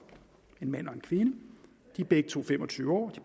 en mand og en kvinde de er begge to fem og tyve år